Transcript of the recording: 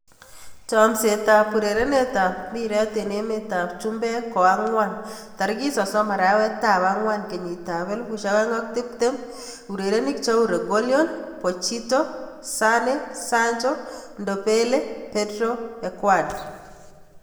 Chomset ab urerenet ab mbiret eng emet ab chumbek koang'wan 30.04.2020: Reguilon, Pochettino, Sane, Sancho, Ndombele, Pedro, Edouard